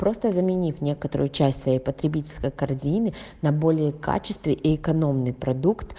просто заменив некоторую часть своей потребительской корзины на более качественый и экономный продукт